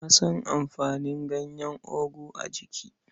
Na san amfanin ganyen ogu a jiki.